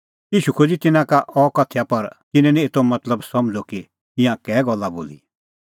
ईशू खोज़अ तिन्नां का अह उदाहरण पर तिन्नैं निं एतो मतलब समझ़अ कि ईंयां कै गल्ला बोली